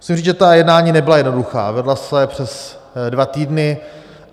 Musím říct, že ta jednání nebyla jednoduchá, vedla se přes dva týdny.